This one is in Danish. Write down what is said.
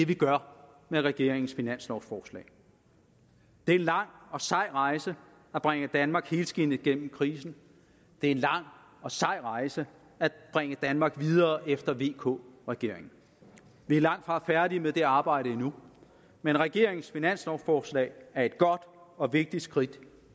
vi gør med regeringens finanslovforslag det er en lang og sej rejse at bringe danmark helskindet gennem krisen det er en lang og sej rejse at bringe danmark videre efter vk regeringen vi er langtfra færdige med det arbejde endnu men regeringens finanslovforslag er et godt og vigtigt skridt